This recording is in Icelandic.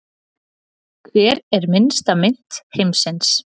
Hver er minnsta mynt heims?